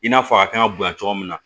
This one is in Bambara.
I n'a fɔ a kan ka bonya cogo min na